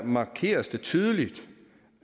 markeres det tydeligt